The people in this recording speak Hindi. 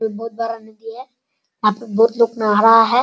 एक बहुत बड़ा नदी है यहाँ पे बहुत लोग नहा रहा है |